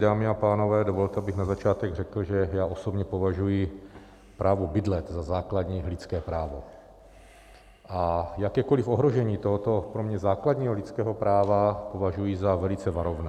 Dámy a pánové, dovolte, abych na začátek řekl, že já osobně považuji právo bydlet za základní lidské právo a jakékoliv ohrožení tohoto pro mě základního lidského práva považuji za velice varovné.